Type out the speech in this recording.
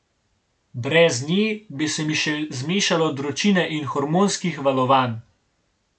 Brez nje, bi se mi še zmešalo od vročine in hormonskih valovanj.